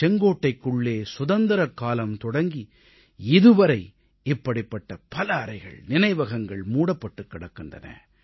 செங்கோட்டைக்குள்ளே சுதந்திரக்காலம் தொடங்கி இதுவரை இப்படிப்பட்ட பல அறைகள் நினைவகங்கள் மூடப்பட்டுக் கிடக்கின்றன